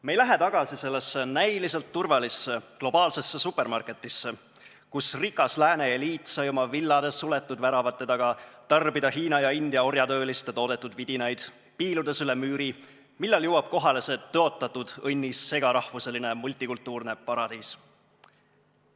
Me ei lähe tagasi sellesse näiliselt turvalisse globaalsesse supermarketisse, kus rikas lääne eliit sai oma villades suletud väravate taga tarbida Hiina ja India orjatööliste toodetud vidinaid, piiludes üle müüri, millal jõuab kohale see tõotatud õnnis segarahvuseline multikultuurne paradiis.